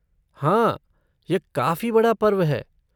हाँ यह काफ़ी बड़ा पर्व है।